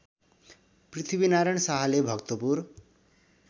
पृथ्वीनारायण शाहले भक्तपुर